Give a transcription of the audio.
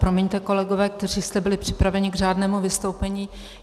Promiňte, kolegové, kteří jste byli připraveni k řádnému vystoupení.